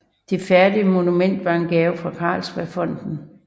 Det færdige monument var en gave fra Carlsbergfondet